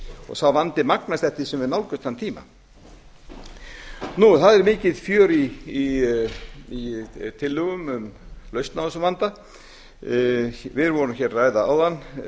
og sá vandi magnast eftir því sem við nálgumst þann tíma það er mikið fjör í tillögum um lausn á þessum vanda við vorum að ræða áðan